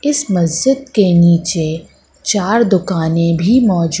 इस मस्जिद के नीचे चार दुकानें भी मौजू --